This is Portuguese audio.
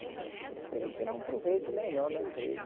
Eu esperei tirar um proveito melhor da empresa.